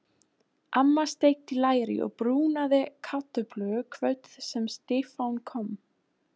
Amma steikti læri og brúnaði kartöflur kvöldið sem Stefán kom.